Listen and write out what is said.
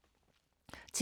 TV 2